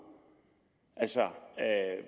altså